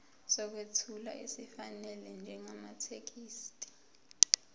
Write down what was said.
sokwethula esifanele njengamathekisthi